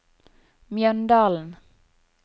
Mjøndalen